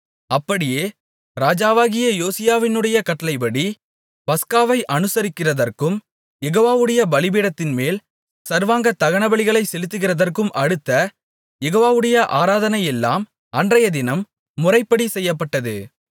அப்படியே ராஜாவாகிய யோசியாவினுடைய கட்டளைப்படி பஸ்காவை அனுசரிக்கிறதற்கும் யெகோவாவுடைய பலிபீடத்தின்மேல் சர்வாங்க தகனபலிகளைச் செலுத்துகிறதற்கும் அடுத்த யெகோவாவுடைய ஆராதனையெல்லாம் அன்றையதினம் முறைப்படி செய்யப்பட்டது